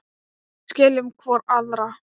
Við skiljum hvor aðra.